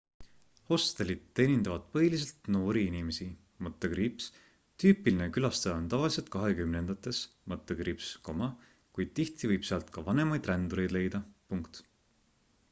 hostelid teenindavad põhiliselt noori inimesi tüüpiline külastaja on tavaliselt kahekümnendates - kuid tihti võib sealt ka vanemaid rändureid leida